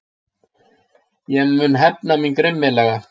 Ég mun hefna mín grimmilega.